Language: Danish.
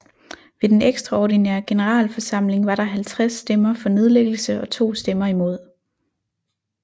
Ved den ekstraordinære generalforsamling var der 50 stemmer for nedlæggelse og 2 stemmer imod